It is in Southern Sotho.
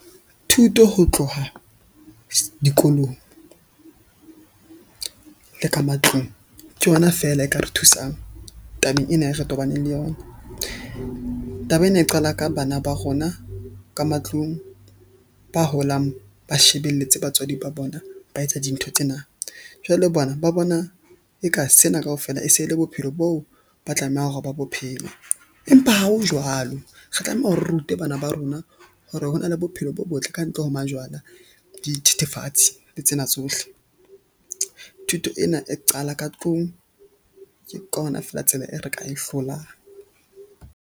Thuto ho tloha dikolong le ka matlung ke yona fela e ka re thusang tabeng ena, e re tobane le yona. Taba ena e qala ka bana ba rona, ka matlung ba holang, ba shebelletse batswadi ba bona, ba etsa dintho tsena. Jwale bona ba bona eka sena kaofela e se e le bophelo boo ba tlamehang hore ba bo phele. Empa ha ho jwalo re tlameha re rute bana ba rona hore ho na le bophelo bo botle kantle ho majwala, dithethefatsi le tsena tsohle. Thuto ena e qala ka tlung. Ke ka hona feela tsela e re ka e hlolang.